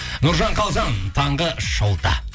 нұржан қалжан таңғы шоуда